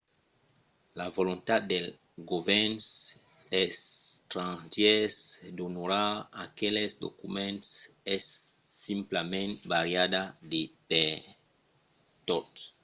la volontat dels govèrns estrangièrs d’onorar aqueles documents es simplament variabla de pertot